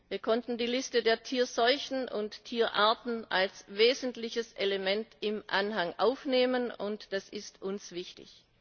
Wir konnten die Liste der Tierseuchen und Tierarten als wesentliches Element im Anhang aufnehmen, und das ist uns wichtig.